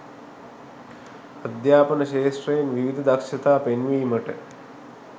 අධ්‍යාපන ක්‍ෂේත්‍රයෙන් විවිධ දක්ෂතා පෙන්වීමට